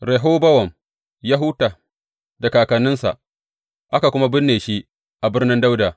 Rehobowam ya huta da kakanninsa aka kuma binne shi a Birnin Dawuda.